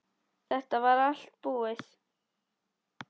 Þetta var þá allt búið.